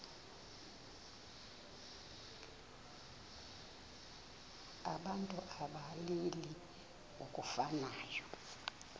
abantu abalili ngokufanayo